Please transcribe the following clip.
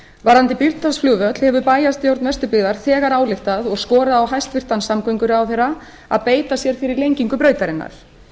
varðandi bíldudalsflugvöll hefur bæjarstjórn vesturbyggðar þegar ályktað og skorað á hæstvirtan samgönguráðherra að beita sér fyrir lengingu brautarinnar